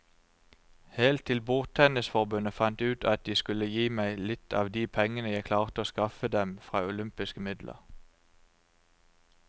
Helt til bordtennisforbundet fant ut at de skulle gi meg litt av de pengene jeg klarte å skaffe dem fra olympiske midler.